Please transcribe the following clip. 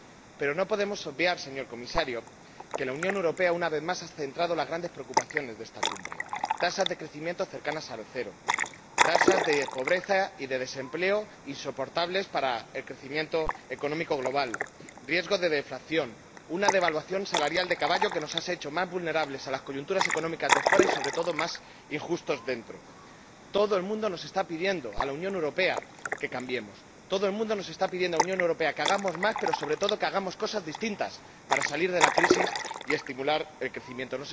Pero no podemos obviar, señor Comisario, que la Unión Europea, una vez más, ha centrado las grandes preocupaciones de esta cumbre tasas de crecimiento cercanas al cero, tasas de pobreza y de desempleo insoportables para el crecimiento económico global, riesgo de deflación, una drástica devaluación salarial que nos ha hecho más vulnerables a las coyunturas económicas de fuera y, sobre todo, más injustos dentro. Todo el mundo nos está pidiendo a la Unión Europea que cambiemos. Todo el mundo nos está pidiendo a la Unión Europea que hagamos más, pero, sobre todo, que hagamos cosas distintas para salir de la crisis y estimular el crecimiento.